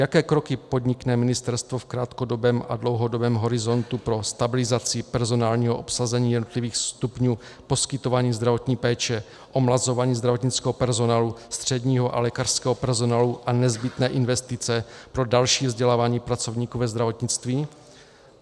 Jaké kroky podnikne ministerstvo v krátkodobém a dlouhodobém horizontu pro stabilizaci personálního obsazení jednotlivých stupňů poskytování zdravotní péče, omlazování zdravotnického personálu, středního a lékařského personálu a nezbytné investice pro další vzdělávání pracovníků ve zdravotnictví?